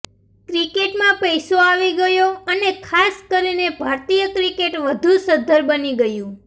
ક્રિકેટમાં પૈસો આવી ગયો અને ખાસ કરીને ભારતીય ક્રિકેટ વધુ સધ્ધર બની ગયું